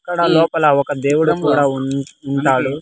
ఇక్కడ లోపల ఒక దేవుడు కూడా ఉన్ ఉంటాడు.